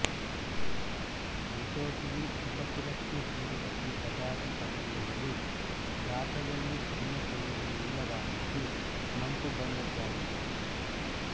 Lithosiini ಉಪಕುಲಕ್ಕೆ ಸೇರಿದ ಈ ಪದಾತಿ ಪತಂಗಗಳು ಗಾತದಲ್ಲಿ ಸಣ್ಣ ಶರೀರ ನೀಳವಾಗಿದ್ದು ಮಂಕು ಬಣ್ಣದ್ದಾಗಿವೆ